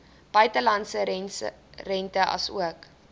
buitelandse rente asook